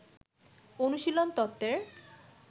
অনুশীলন তত্ত্বের